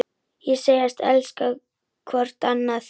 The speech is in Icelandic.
Og segjast elska hvort annað.